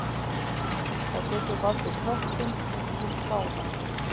Það getur valdið köttum miklum kláða.